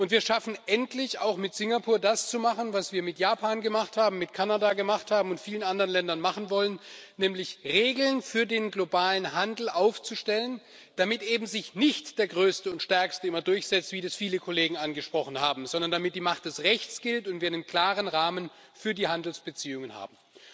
Wir schaffen endlich auch mit Singapur, das zu machen, was wir mit Japan gemacht haben, mit Kanada gemacht haben und mit vielen anderen Ländern machen wollen nämlich Regeln für den globalen Handel aufstellen, damit sich eben nicht der Größte und Stärkste immer durchsetzt, wie das viele Kollegen angesprochen haben, sondern damit die Macht des Rechts gilt und wir einen klaren Rahmen für die Handelsbeziehungen haben.